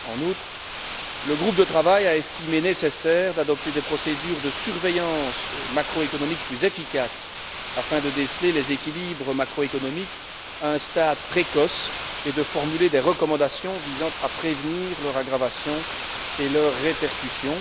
En outre, le groupe de travail a estimé nécessaire d'adopter des procédures de surveillance macroéconomique plus efficaces afin de déceler les déséquilibres macroéconomiques à un stade précoce et de formuler des recommandations visant à prévenir leur aggravation et leurs répercussions.